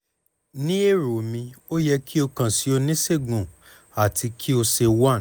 ni ero mi o yẹ ki o kan si onisegun ati ki o ṣe one